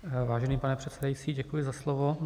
Vážený pane předsedající, děkuji za slovo.